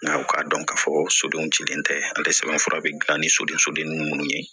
Nka u k'a dɔn k'a fɔ sodenw cilen tɛ ale sɛbɛnfura be gilan ni soden sodennin minnu ye